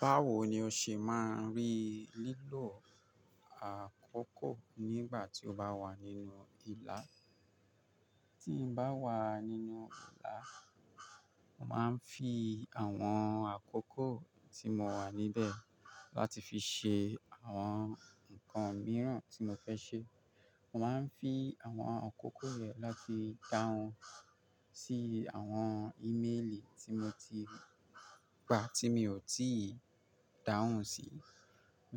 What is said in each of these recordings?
Báwo ni o ṣe máa ń rí lílò àkókò nígbà tí o bá wà nínú ìlà? Tí n bá wà nínú ìlà, màá ń fi àwọn àkókò tí mo wà níbẹ̀ láti fi ṣe àwọn nǹkan mìíràn tí mo fẹ́ ṣe. Mo máa ń fi àwọn àkókò rẹ̀ láti dáhùn sí àwọn íméèlì tí mo ti gba tí mi ò tíì dáhùn sí. Mo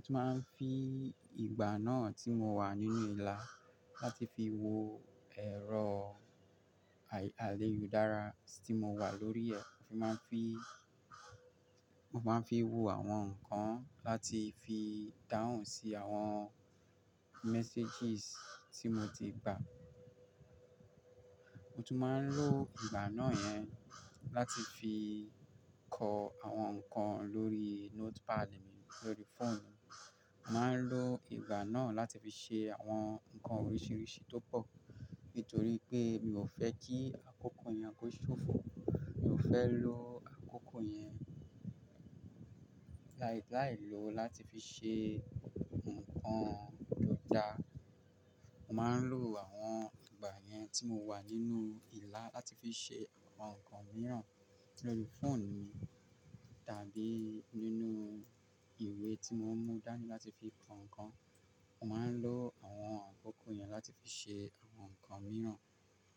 tún máa ń fi ìgbà náà tí mo wà nínú ìlà láti fi wo ẹ̀rọ aléyudárá tí mo wà lórí rẹ̀. Mo máa ń fi, mo máa ń fi wo àwọn nǹkan láti fi ìdáhùn sí àwọn messages tí mo ti gba. Mo tún máa ń lo ìgbà náà yẹn láti fi kọ àwọn nǹkan lórí notepad mi lórí phone mi. Màá ń lo ìgbà náà láti fi ṣe àwọn nǹkan oríṣiríṣi tó pọ̀. Nítorí pé mi ò fẹ́ kí àkókò yẹn kó ṣòfò. Mi ò fẹ́ lo àkókò yẹn láì, láì lòó láti fi ṣe nǹkan tó dáa. Mo máa ń lo àwọn ìgbà yẹn tí mo wà nínú ìlà láti fi ṣe àwọn nǹkan mìíràn lórí phone mi tàbí nínú ìwé tí mo ń mú dání láti fi kọ nǹkan. Mo máa ń lo àwọn àkókò yẹn láti fi ṣe àwọn nǹkan mìíràn.